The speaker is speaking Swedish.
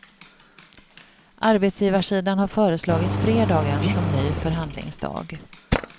Arbetsgivarsidan har föreslagit fredagen som ny förhandlingsdag.